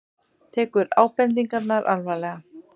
Tekur ábendingarnar alvarlega